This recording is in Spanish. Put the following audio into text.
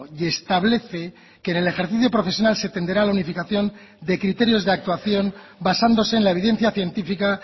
y establece que en el ejercicio profesional se tenderá a la unificación de criterios de actuación basándose en la evidencia científica